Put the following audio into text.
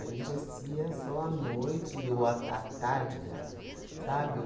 A gente assistia só à noite, ou à ta à tarde, aliás. Sabe?